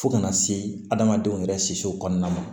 Fo kana se adamadenw yɛrɛ kisiw kɔnɔna ma